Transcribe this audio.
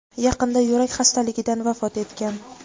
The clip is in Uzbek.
yaqinda yurak xastaligidan vafot etgan.